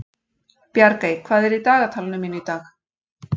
Bjargey, hvað er í dagatalinu mínu í dag?